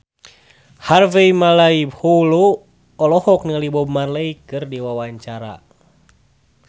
Harvey Malaiholo olohok ningali Bob Marley keur diwawancara